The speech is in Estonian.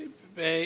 Aitäh!